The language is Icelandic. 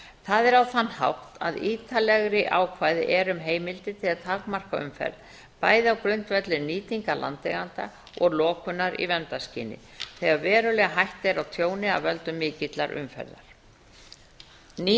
það er á þann hátt að ítarlegri ákvæði er um heimildir til að takmarka umferð bæði á grundvelli nýtingar landeigenda og lokunar í verndarskyni þegar veruleg hætta er á tjóni af völdum mikillar umferðar ný